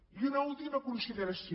i una última consideració